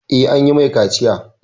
Eh, an yi mai kaciya